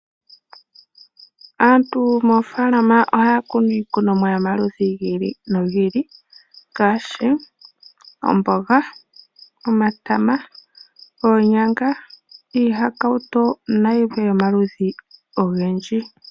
Aantu moofaalama ohaya kunu iikunomwa ya yo maludhi gi ili nogi ili. Ngaashi omboga, omatama, oonyanga, iihakautu na yilwe yo maludhi ogendji.